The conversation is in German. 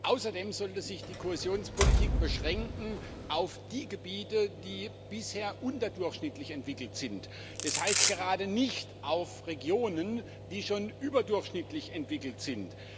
Außerdem sollte sich die Kohäsionspolitik auf die Gebiete, die bisher unterdurchschnittlich entwickelt sind, beschränken, das heißt, gerade nicht auf Regionen, die schon überdurchschnittlich entwickelt sind.